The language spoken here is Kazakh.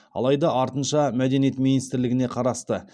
алайда артынша мәдениет министрлігіне қарасты